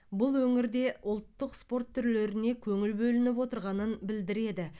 бұл өңірде ұлттық спорт түрлеріне көңіл бөлініп отырғанын білдіреді